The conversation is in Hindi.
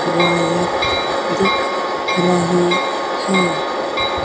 वायर दिख रही है।